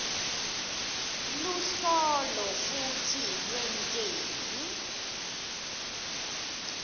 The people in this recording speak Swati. luhlolo futsi lwenteni